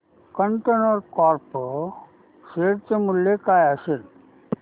container Corp share चे मूल्य काय असेल